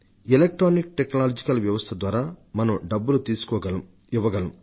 electronic technology ద్వారా మనం డబ్బులు తీసుకోగలం ఇవ్వగలం